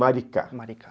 Maricá, Maricá.